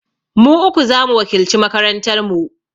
Mu uku za mu wakilci makarantar mu.